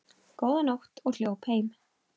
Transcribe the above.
Góða nótt og hljóp heim.